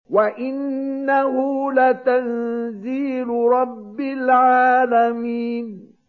وَإِنَّهُ لَتَنزِيلُ رَبِّ الْعَالَمِينَ